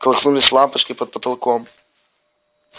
колыхнулись лампочки под потолком